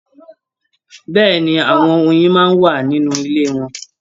Bẹ́ẹ̀ni, àwọn oyin máa n wà nínú ilé wọn.